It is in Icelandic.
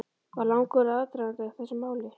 Var langur aðdragandi að þessu máli?